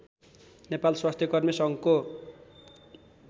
नेपाल स्वास्थ्यकर्मी सङ्घको